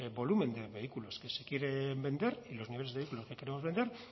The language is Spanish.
volumen de vehículos que se quieren vender y los niveles de vehículos que queremos vender